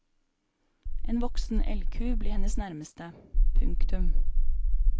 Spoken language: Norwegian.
En voksen elgku blir hennes nærmeste. punktum